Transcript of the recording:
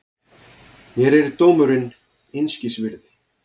Mér er dómurinn einskis virði.